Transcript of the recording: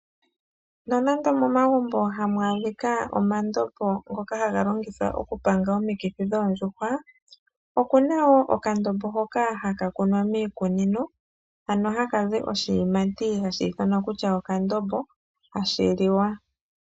Nonando momagumbo hamu adhika omandombo ngoka haga longithwa oku panga omikithi dhoondjuhwa, okuna wo okandombo hoka haka kunwa miikunino. Ano haka zi oshiyimati hashi ithanwa kutya okandombo, hashi liwa.